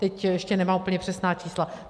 Teď ještě nemám úplně přesná čísla.